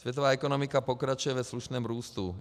Světová ekonomika pokračuje ve slušném růstu.